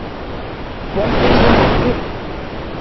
Vonbrigðin voru yfirþyrmandi.